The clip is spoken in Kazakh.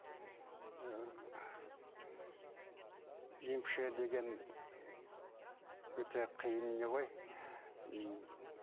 емші деген өте қиын не ғой м